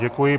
Děkuji.